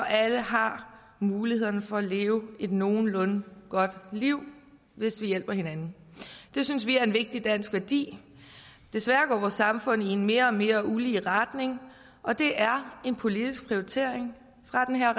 alle har mulighederne for at leve et nogenlunde godt liv hvis vi hjælper hinanden det synes vi er en vigtig dansk værdi desværre går vores samfund i en mere og mere ulige retning og det er en politisk prioritering fra den her